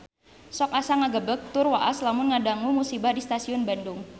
Sok asa ngagebeg tur waas lamun ngadangu musibah di Stasiun Bandung